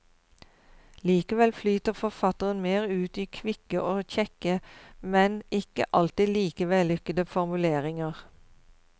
Likevel flyter forfatteren mer ut i kvikke og kjekke, men ikke alltid like vellykkede formuleringer.